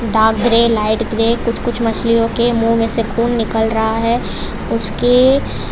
dark grey light grey कुछ कुछ मछलियों के मुंह में से खून निकल रहा है उसके --